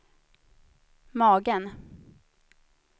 magen